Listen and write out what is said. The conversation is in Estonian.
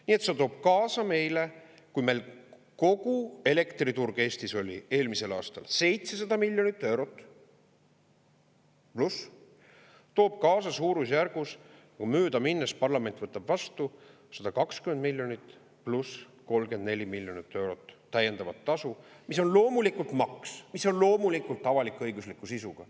Nii et see toob kaasa meile, kui meil kogu elektriturg Eestis oli eelmisel aastal 700 miljonit eurot pluss, suurusjärgus – kui möödaminnes parlament võtab vastu – 120 miljonit pluss 34 miljonit eurot täiendavat tasu, mis on loomulikult maks, mis on loomulikult avalik-õigusliku sisuga.